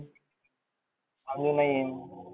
नईयेन